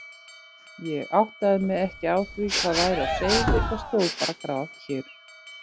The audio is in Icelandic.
Ég áttaði mig ekki á því hvað væri á seyði og stóð bara grafkyrr.